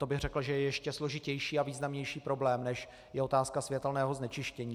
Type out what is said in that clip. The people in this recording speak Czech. To bych řekl, že je ještě složitější a významnější problém, než je otázka světelného znečištění.